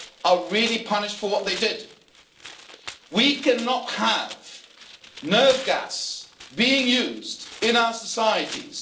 are really punished for what they did. We cannot have nerve gas being used in our societies.